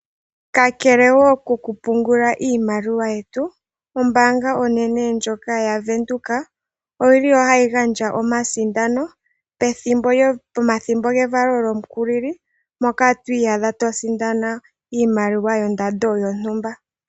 Kakelewo koku pungula iimaliwa yetu, ombaanga onene ndjoka ya venduka oyili hayi gandja omasindano pomathimbo gevalo lyomukulili moka to iyadha to sindana iimaliwa yondando yontumba.